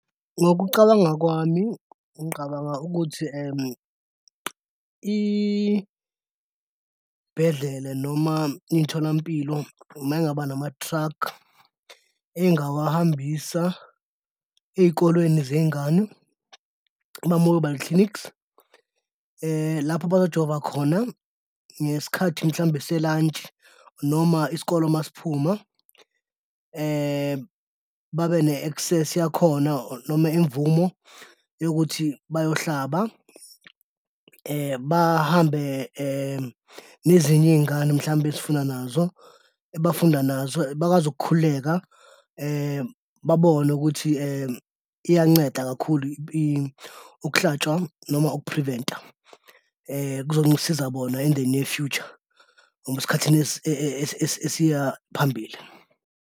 Ngokucabanga kwami, ngiqabanga ukuthi iy'bhedlela noma imtholampilo mayingaba nama-truck engawahambisa ey'kolweni zey'ngane, ama-mobile clinics lapho bazojova khona ngesikhathi mhlawumbe se-lunch noma isikole masiphuma babe ne-access yakhona noma imvumo yokuthi bayohlaba bahambe nezinye iy'ngane mhlawumbe esifunda nazo, abafunda nazo bakwazi ukukhululeka babone ukuthi iyanceda kakhulu ukuhlatshwa noma uku-prevent-a. Kuzongisiza bona in the near, noma esikhathini esiya phambili.